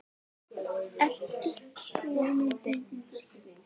Eddu létti.